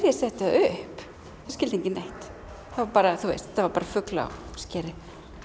ég setti það upp þá skildi enginn neitt þá bara þú veist þetta var bara fugl á skeri